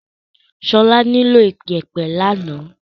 Ṣọlá nílò ìyẹ̀pẹ̀ lánàá.